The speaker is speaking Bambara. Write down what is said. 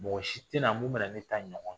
Mɔgɔ si tɛ na mun be na ne ta in ɲɔgɔn kɛ.